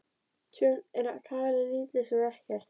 Tjón er talið lítið sem ekkert